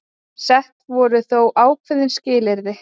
Sett voru þó ákveðin skilyrði